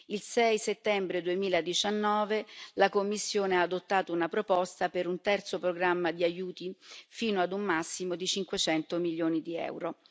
Il 6 settembre 2019, la Commissione ha adottato una proposta per un terzo programma di aiuti fino a un massimo di 500 milioni di euro.